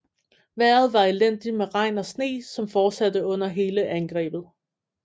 Vejret var elendigt med regn og sne som fortsatte under hele angrebet